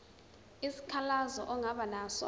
isikhalazo ongaba naso